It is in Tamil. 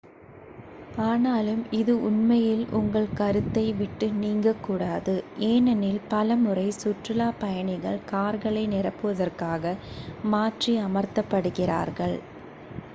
ஆனாலும் இது உண்மையில் உங்கள் கருத்தை விட்டு நீங்கக் கூடாது ஏனெனில் பலமுறை சுற்றுலாப் பயணிகள் கார்களை நிரப்புவதற்காக மாற்றி அமர்த்தப்படுகிறார்கள்